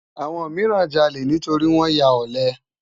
Awòn mirán jàlé nitóri wòn yá òlè